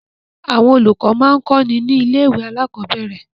Àwọn olùkọ́ máa ń kọ́ni ní ilé-ìwé alákọ̀ọ́bẹ̀rẹ̀.